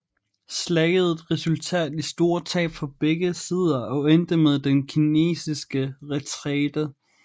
Slaget resulterede i store tab for begge sider og endte med en kinesisk retræte